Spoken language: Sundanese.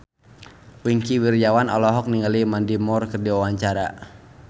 Wingky Wiryawan olohok ningali Mandy Moore keur diwawancara